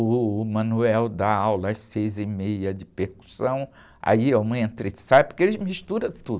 O Manuel dá aula às seis e meia de percussão, aí é um entra e sai, porque eles misturam tudo.